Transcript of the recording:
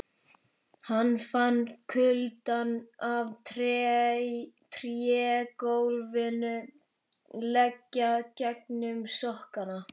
Hann fann kuldann af trégólfinu leggja gegnum sokkana.